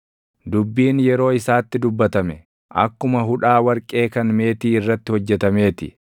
Dubbiin yeroo isaatti dubbatame, akkuma hudhaa warqee kan meetii irratti hojjetamee ti.